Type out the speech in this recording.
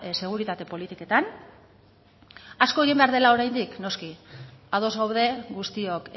seguritate politiketan asko egin behar dela oraindik noski ados gaude guztiok